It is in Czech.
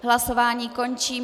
Hlasování končím.